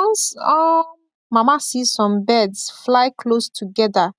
once um mama see some birds fly close together